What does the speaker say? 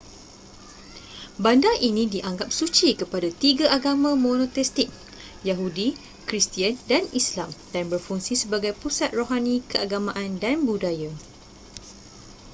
bandar ini dianggap suci kepada tiga agama monoteistik yahudi kristian dan islam dan berfungsi sebagai pusat rohani keagamaan dan budaya